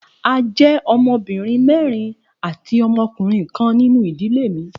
A jẹ ọmọbirin mẹrin ati ọmọkunrin kan ninu idile mi.